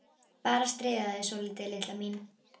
Bara að stríða þér svolítið, litla mín.